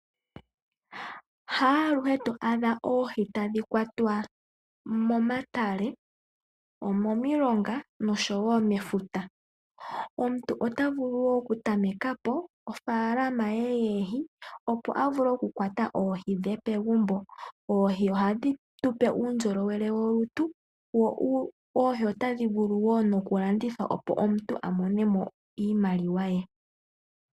Haaluhe to adha oohi tadhi kwatwa momatale, omomilonga nosho wo mefuta. Omuntu otavulu wo okutameka po ofaalama ye yoohi opo a vule okukwata oohi dhe pegumbo. Oohi ohadhi tupe uundjolowele wolutu wo oohi otadhi vulu wo nokulandithwa opo omuntu a mone mo iimaliwa ye.